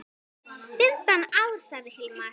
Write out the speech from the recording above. Fimmtán ár, sagði Hilmar.